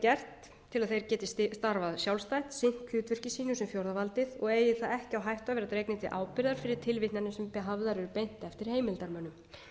gert til að þeir geti starfað sjálfstætt sinnt hlutverki sínu sem fjórða valdi og eigi það ekki á hættu að vera dregnir til ábyrgðar fyrir tilvitnanir sem hafðar eru beint eftir heimildarmönnum